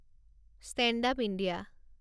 stand up India